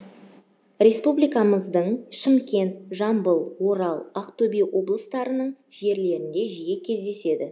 республикамыздың шымкент жамбыл орал ақтөбе облыстарының жерлерінде жиі кездеседі